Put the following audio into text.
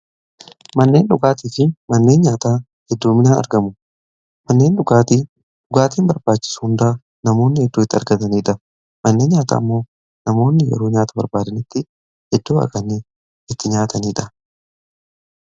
Manneen dhugaatii fi manneen nyaataa hedduminaan argamu. Manneen dhugaatiin barbaachisu hundaa namoonni iddoo itti argataniidha. Manneen nyaataa ammoo namoonni yeroo nyaata barbaadanitti iddoo itti nyaatanidha.